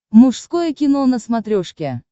мужское кино на смотрешке